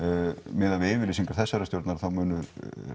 meðað við yfirlýsingar þessarar stjórnar þá munu